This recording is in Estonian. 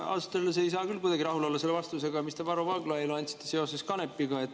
Ma ausalt öeldes ei saa küll kuidagi rahul olla selle vastusega, mis te Varro Vooglaiule andsite seoses kanepiga.